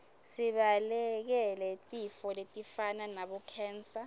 sibalekele tifo letifana nabo khensa